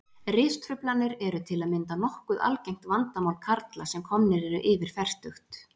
Ristruflanir eru til að mynda nokkuð algengt vandamál karla sem komnir eru yfir fertugt.